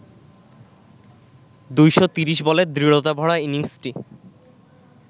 ২৩০ বলের দৃঢ়তাভরা ইনিংসটি